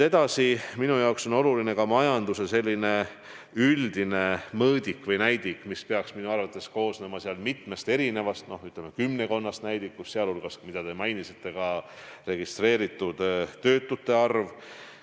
Edasi, minu arvates on oluline ka majanduse selline üldine mõõdik või näidik, mis peaks koosnema mitmest, ütleme, kümmekonnast näidikust, sh see, mida ka teie mainisite, nimelt registreeritud töötute arv.